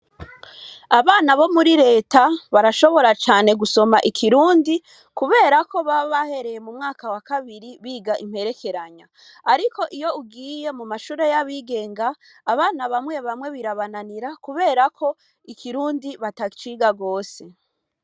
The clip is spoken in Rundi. Abana bo muri leta barashobora cane gusoma ikirundi, kubera ko babahereye mu mwaka wa kabiri biga imperekeranya, ariko iyo ugiye mu mashure y'abigenga abana bamwe bamwe birabananira kuberako ikirundi bataciga rwose.